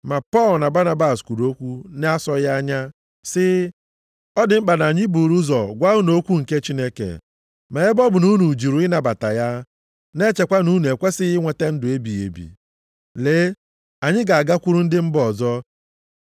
Ma Pọl na Banabas kwuru okwu na-asọghị anya sị, “Ọ dị mkpa na anyị buuru ụzọ gwa unu okwu nke Chineke, ma ebe ọ bụ na unu jụrụ ịnabata ya, na-echekwa na unu ekwesighị inweta ndụ ebighị ebi, lee, anyị ga-agakwuru ndị mba ọzọ.